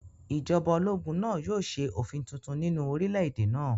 Ìjọba ológun náà yóò ṣe òfin tuntun nínú orílẹ̀-èdè náà